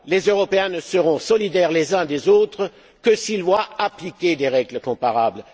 Les Européens ne seront solidaires les uns des autres que s'ils voient appliquer des règles comparables.